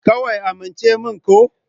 Kawai amince min ko?